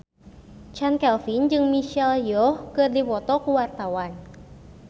Chand Kelvin jeung Michelle Yeoh keur dipoto ku wartawan